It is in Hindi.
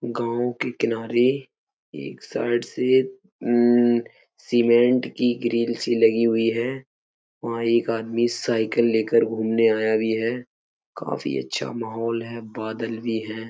गांव के किनारे एक साइड से मम्म सीमेंट की ग्रिल सी लगी हुई है। वहां एक आदमी साइकिल लेकर घूमने आया भी है। काफी अच्छा माहौल है बादल भी है।